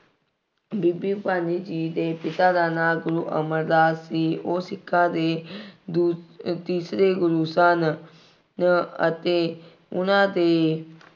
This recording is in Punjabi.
ਬੀਬੀ ਭਾਨੀ ਜੀ ਦੇ ਪਿਤਾ ਦਾ ਨਾਂ ਗੁਰੂ ਅਮਰਦਾਸ ਸੀ। ਉਹ ਸਿੱਖਾਂ ਦੇ ਦੂ ਅਹ ਤੀਸਰੇ ਗੁਰੂ ਸਨ ਅਹ ਅਤੇ ਉਹਨਾ ਦੇ